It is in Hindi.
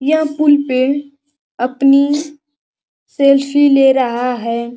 यह पुल पे अपनी सेल्फी ले रहा है ।